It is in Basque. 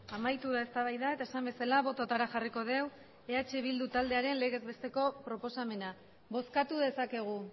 amaitu da eztabaida eta esan bezala bototara jarriko dugu eh bildu taldearen legez besteko proposamena bozkatu dezakegu